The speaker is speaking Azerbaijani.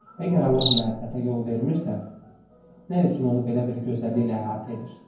Əgər Allah məhəbbətə yol vermirsə, nə üçün onu belə bir gözəlliklə əhatə edir?